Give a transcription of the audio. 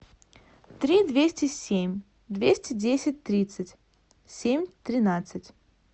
три двести семь двести десять тридцать семь тринадцать